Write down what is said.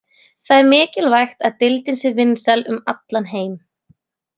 Það er mjög mikilvægt að deildin sé vinsæl um allan heim.